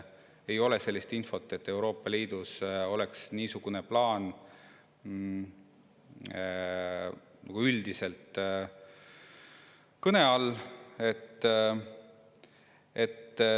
Ei ole sellist infot, et Euroopa Liidus oleks niisugune plaan üldiselt kõne all.